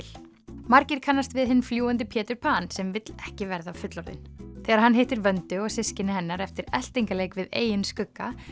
margir kannast við hinn fljúgandi Pétur sem vill ekki verða fullorðinn þegar hann hittir Vöndu og systkini hennar eftir eltingaleik við eigin skugga